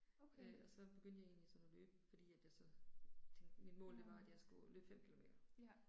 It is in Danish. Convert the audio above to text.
Okay. Mh. Ja